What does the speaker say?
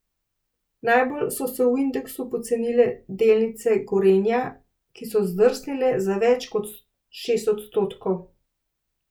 Najbolj so se v indeksu pocenile delnice Gorenja, ki so zdrsnile za več kot šest odstotkov.